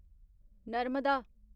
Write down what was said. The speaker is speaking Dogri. नर्मदा